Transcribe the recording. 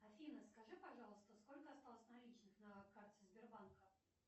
афина скажи пожалуйста сколько осталось наличных на карте сбербанка